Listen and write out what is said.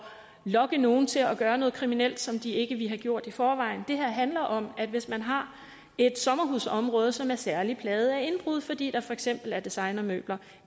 at lokke nogle til at gøre noget kriminelt som de ikke ville have gjort i forvejen det her handler om at hvis man har et sommerhusområde som er særlig plaget af indbrud fordi der for eksempel er designermøbler